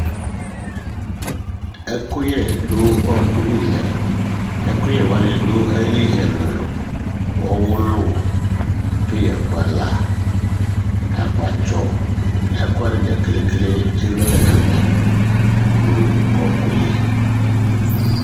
Ɛkʋyɛ du ɔku li lɛ Ɛkʋyɛ wani dʋ ayìlí ɛlu ɛlu Ɔwʋlu, peya kpala, akpatsɔ, ɛku wani dza kele kele elu alɛ nʋ ɛvɛ nʋ ɔku yɛ li